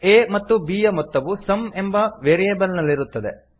a ಮತ್ತು b ಯ ಮೊತ್ತವು ಸಮ್ ಎಂಬ ವೇರಿಯೇಬಲ್ ನಲ್ಲಿರುತ್ತವೆ